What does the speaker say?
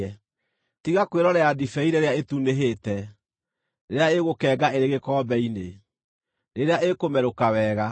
Tiga kwĩrorera ndibei rĩrĩa ĩtunĩhĩte, rĩrĩa ĩgũkenga ĩrĩ gĩkombe-inĩ, rĩrĩa ĩkũmerũka wega!